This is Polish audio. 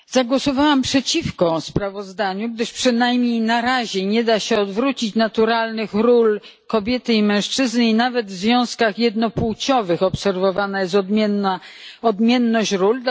Zagłosowałam przeciwko sprawozdaniu, gdyż przynajmniej na razie nie da się odwrócić naturalnych ról kobiety i mężczyzny i nawet związkach jednopłciowych obserwowana jest odmienność ról.